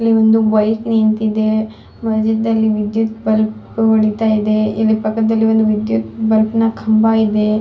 ಇಲ್ಲಿ ಒಂದು ಬೈಕ್ ನಿಂತಿದೆ. ಮದ್ಯದಲ್ಲಿ ವಿದ್ಯುತ್ ಬಲ್ಪ್ ಹೊಳಿತಾ ಇದೆ. ಇಲ್ಲಿ ಪಕ್ಕದಲ್ಲಿ ವಿದ್ಯುತ್ ಬಲ್ಪ್ ನ ಕಂಬ ಇದೆ.